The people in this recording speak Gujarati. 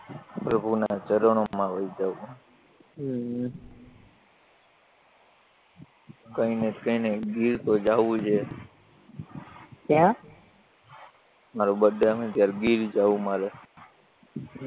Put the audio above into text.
પ્રભુના ચરણોમાં હોય જાવું હે હમ હમ કયનય તો કયનય ગીર તો જાવુજ હે ક્યાં મારો બડે આવે ત્યારે ગીર જાવું મારે